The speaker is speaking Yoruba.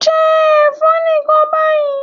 Jẹ ẹ̀fọ́ nìkan báyìí.